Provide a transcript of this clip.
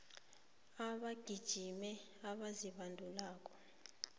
abagijimi abazibandulako